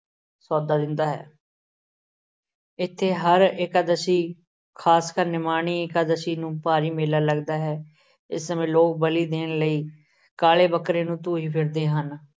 ਦਿੰਦਾ ਹੈ। ਇੱਥੇ ਹਰ ਇਕਾਦਸ਼ੀ ਖਾਸਕਰ ਨਿਮਾਣੀ ਇਕਾਦਸ਼ੀ ਨੂੰ ਭਾਰੀ ਮੇਲਾ ਲੱਗਦਾ ਹੈ। ਇਸ ਸਮੇਂ ਲੋਕ ਬਲੀ ਦੇਣ ਲਈ ਕਾਲੇ ਬੱਕਰੇ ਨੂੰ ਧੂਹੀ ਫਿਰਦੇ ਹਨ।